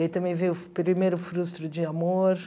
E aí também veio o primeiro frustro de amor.